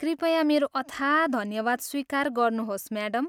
कृपया मेरो अथाह धन्यवाद स्वीकार गर्नुहोस्, म्याडम!